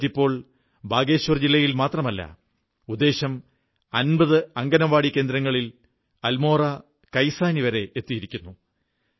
ഈ ബിസ്കറ്റ് ഇപ്പോൾ ബാഗേശ്വർ ജില്ലയിൽ മാത്രമല്ല ഉദ്ദേശം 50 അംഗനവാടി കേന്ദ്രങ്ങളിൽ അൽമോറാ കൈസാനി വരെ എത്തിക്കുന്നു